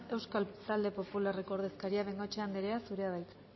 euskal talde popularreko ordezkaria de bengoechea andrea zurea da hitza